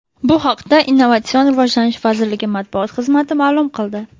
Bu haqda Innovatsion rivojlanish vazirligi matbuot xizmati ma’lum qildi .